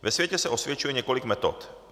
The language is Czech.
Ve světě se osvědčuje několik metod.